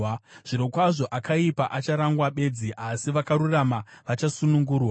Zvirokwazvo akaipa acharangwa bedzi, asi vakarurama vachasunungurwa.